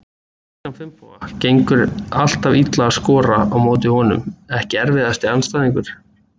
Kristján Finnboga, gengur alltaf illa að skora á móti honum Ekki erfiðasti andstæðingur?